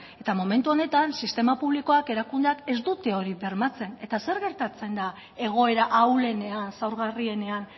eta momentu honetan sistema publikoak erakundeak ez dute hori bermatzen eta zer gertatzen da egoera ahulenean zaurgarrienean